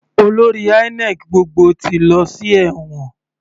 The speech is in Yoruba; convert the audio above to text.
Olórí INEC gbogbo ti lọ sí ẹ̀wọ̀n.